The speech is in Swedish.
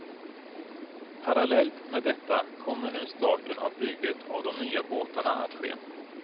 Parallellt med detta kommer nu starten av bygget av de nya båtarna att ske.